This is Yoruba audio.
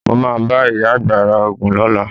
Mo máa bá ìyá àgbà ra Ògùn lọ́la.